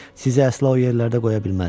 Sizi əsla o yerlərdə qoya bilməzdim.